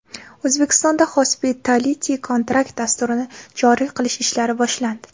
O‘zbekistonda Hospitality Contract dasturini joriy qilish ishlari boshlandi.